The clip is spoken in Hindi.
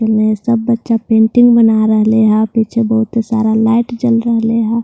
एने सब बच्चा पेंटिंग बना रहले ह पीछे बहुत ही सारा लाइट जल रहले ह ।